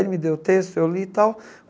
Ele me deu o texto, eu li e tal.